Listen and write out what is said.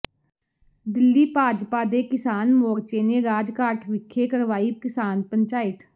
ਦਿੱਲੀ ਭਾਜਪਾ ਦੇ ਕਿਸਾਨ ਮੋਰਚੇ ਨੇ ਰਾਜਘਾਟ ਵਿਖੇ ਕਰਵਾਈ ਕਿਸਾਨ ਪੰਚਾਇਤ